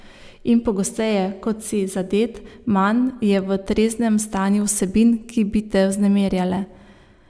In pogosteje, kot si zadet, manj je v treznem stanju vsebin, ki bi te vznemirjale.